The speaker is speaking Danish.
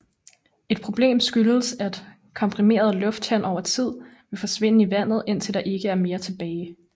Et problem skyldes at komprimeret luft henover tid vil forsvinde i vandet indtil der ikke er mere tilbage